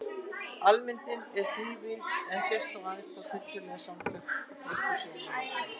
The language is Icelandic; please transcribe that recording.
Almyndin er þrívíð en sést þó aðeins frá tiltölulega takmörkuðu sjónarhorni.